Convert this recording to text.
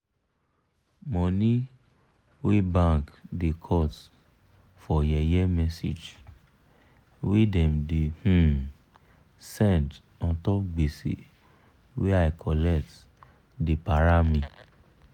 money wey bank da cut for yeye message wey dem da um send untop gbese wey i collect da para me